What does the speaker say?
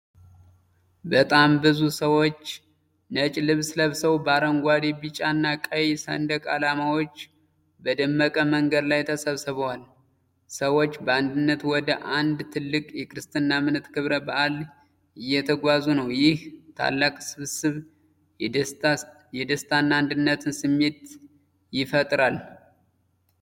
በጣም በርካታ ሰዎች ነጭ ልብስ ለብሰው በአረንጓዴ፣ ቢጫና ቀይ ሰንደቅ ዓላማዎች በደመቀ መንገድ ላይ ተሰብስበዋል። ሰዎች በአንድነት ወደ አንድ ትልቅ የክርስትና እምነት ክብረ በአል እየተጓዙ ነው። ይህ ታላቅ ስብስብ የደስታና የአንድነትን ስሜት ይፈጥራል።